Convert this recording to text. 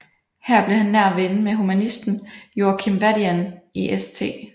Her blev han nær ven med humanisten Joachim Vadian i St